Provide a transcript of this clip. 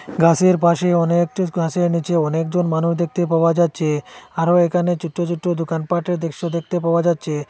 গাসের পাশে অনেকটির গাছের নীচে অনেকজন মানুষ দেখতে পাওয়া যাচ্ছে আরও এখানে ছুট্টো ছুট্টো দোকানপাটের দৃশ্য দেখতে পাওয়া যাচ্ছে।